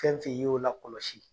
i y'o lakɔlɔsi